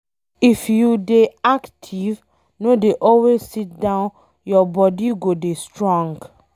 If you dey active no dey always sit down, your body go dey strong